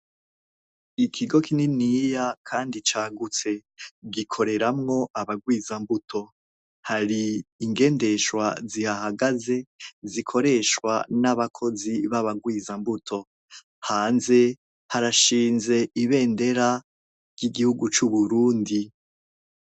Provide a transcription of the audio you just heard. Ikigo kininiya kandi cagutse. Gikoreramwo abagwizambuto. Hari ingendeshwa zihahagaze, zikoreshwa n'abakozi b'abagwizambuto. Hanze harashinze ibendera ry'igihugu c'uburundi.